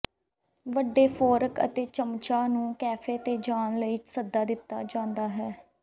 ਵੱਡੇ ਫੋਰਕ ਅਤੇ ਚੱਮਚਾਂ ਨੂੰ ਕੈਫੇ ਤੇ ਜਾਣ ਲਈ ਸੱਦਾ ਦਿੱਤਾ ਜਾਂਦਾ ਹੈ